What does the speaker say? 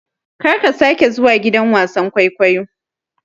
Karka sake zuwa gidan wasan-kwaikwayo.